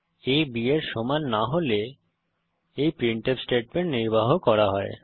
আ b এর সমান না হলে এই প্রিন্টফ স্টেটমেন্ট নির্বাহ করা হবে